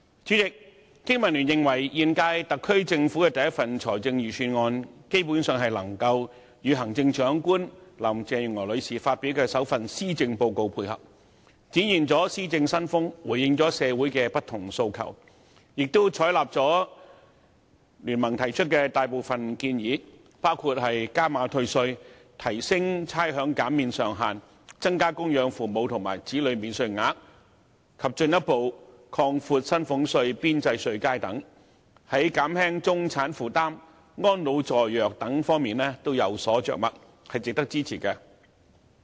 主席，經民聯認為，本屆特區政府的第一份財政預算案，基本上能夠與行政長官林鄭月娥女士發表的首份施政報告配合，展現了施政新風，回應了社會的不同訴求，亦採納了聯盟提出的大部分建議，包括加碼退稅、提升差餉減免上限、增加供養父母和子女免稅額，以及進一步擴闊薪俸稅邊際稅階等，而且在減輕中產負擔和安老助弱等方面都有所着墨，值得支持。